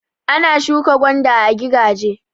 Ana shuka gwanda a gigaje.